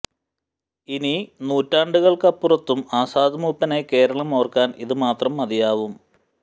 ഇനി നൂറ്റാണ്ടുകൾക്കപ്പുറത്തും ആസാദ് മൂപ്പനെ കേരളം ഓർക്കാൻ ഇത് മാത്രം മതിയാവും